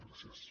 gràcies